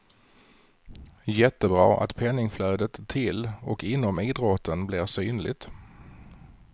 Jättebra att penningflödet till och inom idrotten blir synligt.